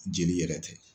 Jeli yɛrɛ tɛ